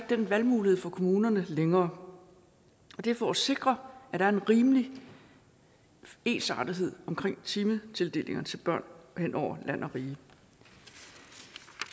den valgmulighed for kommunerne længere det er for at sikre at der er en rimelig ensartethed omkring timetildelinger til børn hen over land og rige